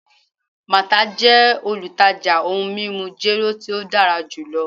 Martha jẹ olutaja ohun mimu jero ti o dara julọ